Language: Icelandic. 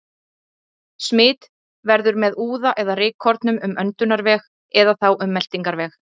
Smit verður með úða eða rykkornum um öndunarveg eða þá um meltingarveg.